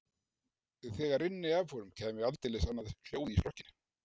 Þegar rynni af honum kæmi aldeilis annað hljóð í strokkinn.